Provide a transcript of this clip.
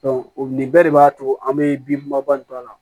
nin bɛɛ de b'a to an be bin bɔ a la